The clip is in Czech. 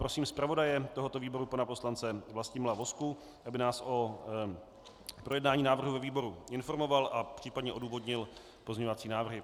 Prosím zpravodaje tohoto výboru pana poslance Vlastimila Vozku, aby nás o projednání návrhu ve výboru informoval a případně odůvodnil pozměňovací návrhy.